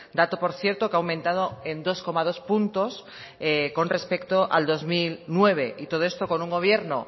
dato por cierto que ha aumentado en dos coma dos puntos con respecto al dos mil nueve y todo esto con un gobierno